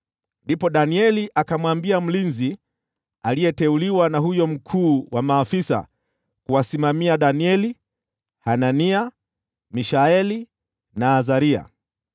Ndipo Danieli akamwambia mlinzi aliyeteuliwa na huyo mkuu wa maafisa kuwasimamia Danieli, Hanania, Mishaeli na Azaria,